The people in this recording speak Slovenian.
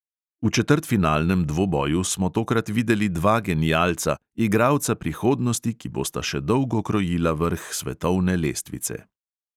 V četrtfinalnem dvoboju smo tokrat videli dva genialca, igralca prihodnosti, ki bosta še dolgo krojila vrh svetovne lestvice.